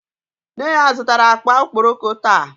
Nne ya zutara akpa okpokoro taa.